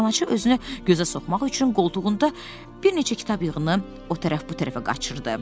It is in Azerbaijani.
Kitabxanaçı özünü gözə soxmaq üçün qoltuğunda bir neçə kitab yığını o tərəf bu tərəfə qaçırdı.